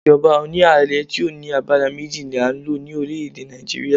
Ìjọba oni ààrẹ ti o ní àgbàrá méjì ni a n lo ni orílẹ̀ èdè Nàìjíríà